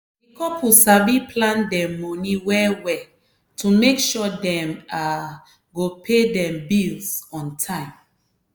di couple sabi plan dem money well-well to make sure dem um go pay dem bills on time.